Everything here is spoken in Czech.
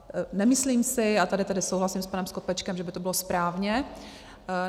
Nemyslím si - já tady tedy souhlasím s panem Skopečkem, že by to bylo správně.